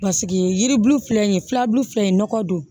Paseke yiribulu filɛ nin ye filabulu filɛ nin ye nɔgɔ don